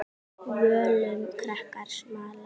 Völum krakkar smala.